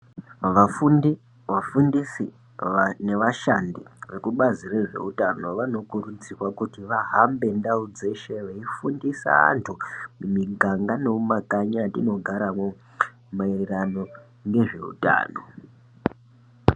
Vafundi, vafundisi nevashandi vekubazi rezveutano, vanokurudzirwa kuti vahambe mundau dzeshe veifundisa antu mumiganga nemumakanyi mwetinogaremo, maererano nezveutano.